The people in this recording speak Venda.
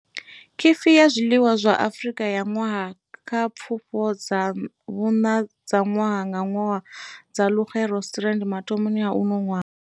Khifi ya zwiḽiwa zwa Afrika ya Ṅwaha kha Pfufho dza vhuṋa dza ṅwaha nga ṅwaha dza Luxe Restaurant mathomoni a uno ṅwaha.